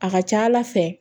A ka ca ala fɛ